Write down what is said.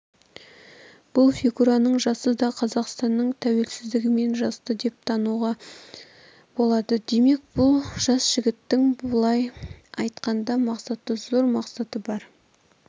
бұл фигураның жасы да қазақстанның тәуелсіздігімен жасты деп тануға болады демек бұл жас жігіттің былай айтқанда мақсаты зор мақсаты бар